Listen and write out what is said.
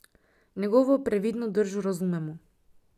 Njegovo previdno držo razumemo.